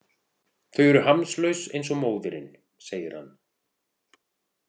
Þau eru hamslaus eins og móðirin, segir hann.